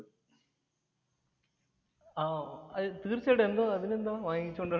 ആഹ് തീര്‍ച്ചയായിട്ടും. എന്താ അതിനെന്താ. വാങ്ങിച്ചു കൊണ്ട്